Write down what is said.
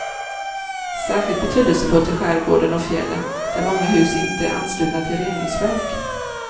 Särskilt betydelsefullt i skärgården och fjällen, där många hus inte är anslutna till reningsverk.